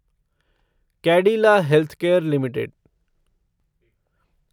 Cadila healthcare limited